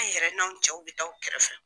An yɛrɛw n'anw cɛw bɛ t'aw kɛrɛfɛ.